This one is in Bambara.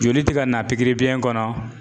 Joli ti ka na pikiri biyɛn kɔnɔ